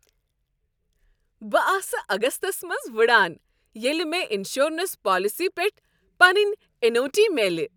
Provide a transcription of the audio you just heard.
بہٕ آسہٕ اگستس منٛز وٕڑان ییٚلہ مےٚ انشورنس پالیسی پیٹھ پنٕنۍ ایٚنوٹی میلہِ۔